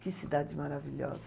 Que cidade maravilhosa.